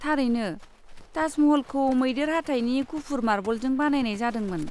थारैनो। ताजमहलखौ मैदेर हाथाइनि गुफुर मार्बलजों बानायनाय जादोंमोन।